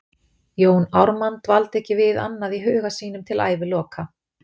Jón Ármann dvaldi ekki við annað í huga sínum til æviloka.